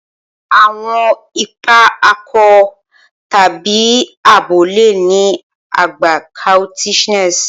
Awọn ipa akọ tabi abo le ni agba coquettishness